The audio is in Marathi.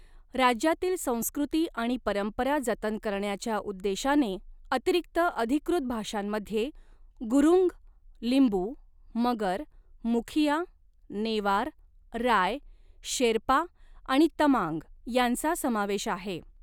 राज्यातील संस्कृती आणि परंपरा जतन करण्याच्या उद्देशाने अतिरिक्त अधिकृत भाषांमध्ये गुरुंग, लिंबू, मगर, मुखिया, नेवार, राय, शेर्पा आणि तमांग यांचा समावेश आहे.